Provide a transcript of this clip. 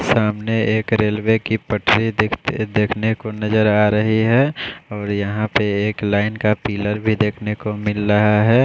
सामने एक रेलवे की पठरी दिख-देखने को नज़र आरही है और यहाँ पर एक लाइन का पिलर भी देखने को मिल रहा है।